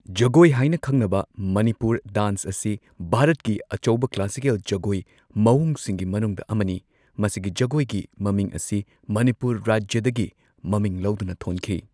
ꯖꯒꯣꯏ ꯍꯥꯏꯅ ꯈꯪꯅꯕ ꯃꯅꯤꯄꯨꯔ ꯗꯥꯟꯁ ꯑꯁꯤ ꯚꯥꯔꯠꯀꯤ ꯑꯆꯧꯕ ꯀ꯭ꯂꯥꯁꯤꯀꯦꯜ ꯖꯒꯣꯏ ꯃꯑꯣꯡꯁꯤꯡꯒꯤ ꯃꯅꯨꯡꯗ ꯑꯃꯅꯤ, ꯃꯁꯤꯒꯤ ꯖꯒꯣꯏꯒꯤ ꯃꯃꯤꯡ ꯑꯁꯤ ꯃꯅꯤꯄꯨꯔ ꯔꯥꯖ꯭ꯌꯗꯒꯤ ꯃꯃꯤꯡ ꯂꯧꯗꯨꯅ ꯊꯣꯟꯈꯤ꯫